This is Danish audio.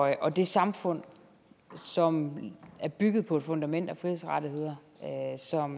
og det samfund som er bygget på et fundament af frihedsrettigheder